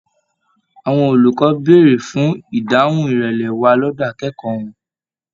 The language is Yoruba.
Àwọn olùkọ bèrè fún ìdáhùn ìrẹlẹ wà lọdọ akẹ́kọ̀ọ́ wọn.